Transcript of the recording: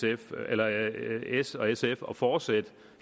s og sf at fortsætte